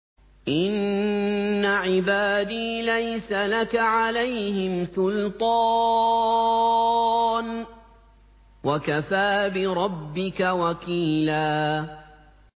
إِنَّ عِبَادِي لَيْسَ لَكَ عَلَيْهِمْ سُلْطَانٌ ۚ وَكَفَىٰ بِرَبِّكَ وَكِيلًا